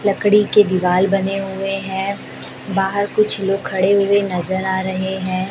लकड़ी की दीवाल बने हुए हैं बाहर कुछ लोग खड़े हुए नजर आ रहे हैं।